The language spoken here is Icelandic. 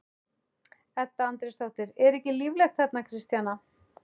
Edda Andrésdóttir: Er ekki líflegt þarna Kristjana?